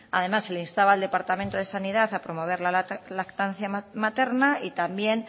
además se le instaba al departamento de sanidad a promover la lactancia materna y también